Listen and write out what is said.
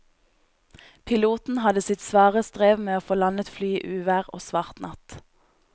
Piloten hadde sitt svare strev med å få landet flyet i uvær og svart natt.